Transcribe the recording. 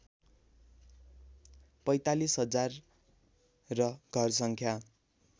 ४५ हजार र घरसङ्ख्या